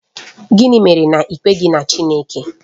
Gịnị mere na i kweghị na Chineke?